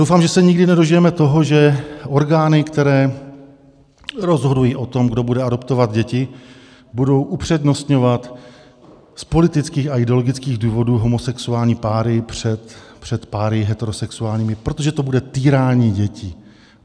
Doufám, že se nikdy nedožijeme toho, že orgány, které rozhodují o tom, kdo bude adoptovat děti, budou upřednostňovat z politických a ideologických důvodů homosexuální páry před páry heterosexuálními, protože to bude týrání dětí.